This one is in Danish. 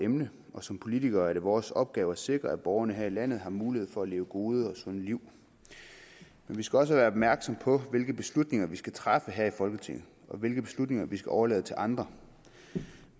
emne og som politikere er det vores opgave at sikre at borgerne her i landet har mulighed for at leve gode og sunde liv vi skal også være opmærksomme på hvilke beslutninger vi skal træffe her i folketinget og hvilke beslutninger vi skal overlade til andre